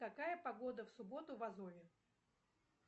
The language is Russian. какая погода в субботу в азове